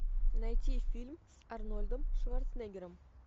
найти фильм с арнольдом шварценеггером